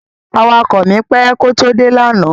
Awakọ̀ mi pẹ́ kó tó dé lánàá.